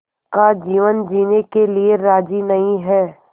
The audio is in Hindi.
का जीवन जीने के लिए राज़ी नहीं हैं